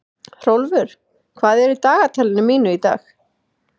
Hrólfur, hvað er í dagatalinu mínu í dag?